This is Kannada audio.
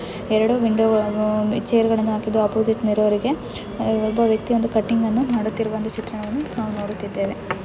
ಎರಡು ವಿಂಡೋಗಲ್ನ್ನು ಚೇರ್ಗಳನ್ನು ಹಾಕಿದ್ದು ಒಪೊಸಿಟ್ ಒಬ್ಬ ವ್ಯಕತಿ ಕಟಿಂಗ್ ಮಾಡುತ್ತಿರುವ ಚಿತ್ರವನ್ನು ನಾವು ನೋಡುತ್ತಿದ್ದೇವೆ .